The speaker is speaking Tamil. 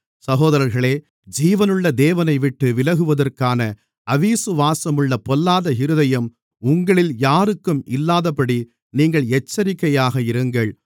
சகோதரர்களே ஜீவனுள்ள தேவனைவிட்டு விலகுவதற்கான அவிசுவாசமுள்ள பொல்லாத இருதயம் உங்களில் யாருக்கும் இல்லாதபடி நீங்கள் எச்சரிக்கையாக இருங்கள்